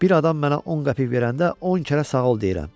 Bir adam mənə 10 qəpik verəndə 10 kərə sağ ol deyirəm.